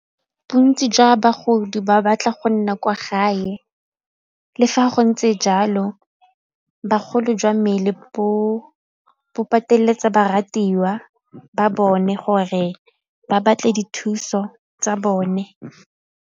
Bontsi jwa bagodi ba batla go nna kwa gae, le fa go ntse jalo bagolo jwa mmele bo pateletsa ba ratiwa ba bone gore ba batle dithuso tsa bone.